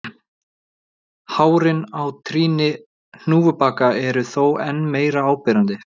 Hárin á trýni hnúfubaka eru þó enn meira áberandi.